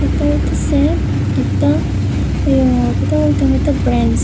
এটা হইতেসে একটা আ কিতা কইতাম একটা ব্রেঞ্চ ।